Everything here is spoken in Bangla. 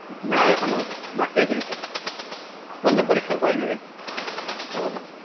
না এখনো বাকি আছে কিছু বললো পরীক্ষার পরে নেবে